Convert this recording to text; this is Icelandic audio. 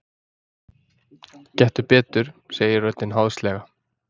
Gettu betur, segir röddin háðslega.